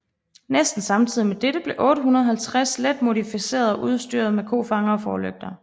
Næsten samtidig med dette blev 850 let modificeret og udstyret med nye kofangere og forlygter